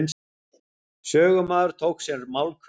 Sögumaður tók sér málhvíld.